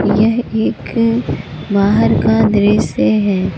यह एक बाहर का दृश्य है।